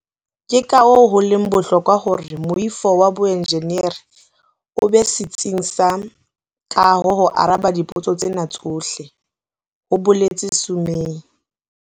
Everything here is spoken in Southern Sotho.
"Ke kahoo ho leng bohlokwa hore moifo wa boenjeneri o be setsing sa kaho ho araba dipotso tsena tsohle," ho boletse Sumay.